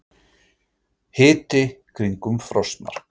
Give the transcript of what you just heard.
Hiti kringum frostmark